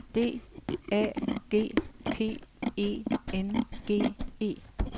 D A G P E N G E